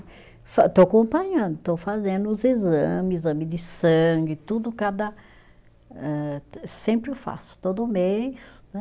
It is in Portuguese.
Estou acompanhando, estou fazendo os exame, exame de sangue, tudo cada, âh, sempre faço, todo mês, né.